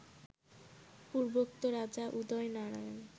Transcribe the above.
পূর্বোক্ত রাজা উদয়নারায়ণ